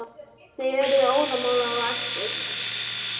Þeir urðu óðamála og æstir.